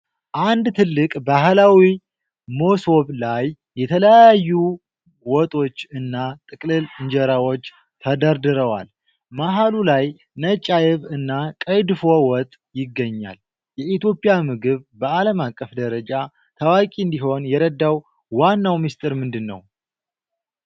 አንድ ትልቅ ባህላዊ መሶብ ላይ የተለያዩ ወጦች እና ጥቅልል እንጀራዎች ተደርድረዋል። መሃሉ ላይ ነጭ አይብ እና ቀይ ድፎ ወጥ ይገኛል። የኢትዮጵያ ምግብ በአለም አቀፍ ደረጃ ታዋቂ እንዲሆን የረዳው ዋናው ምስጢር ምንድነው?